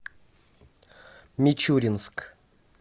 мичуринск